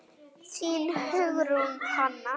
Þín, Hugrún Hanna.